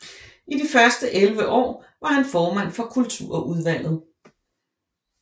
I de første 11 år var han formand for kulturudvalget